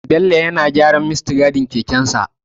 Bello yana gyaran muttigadin kekensa.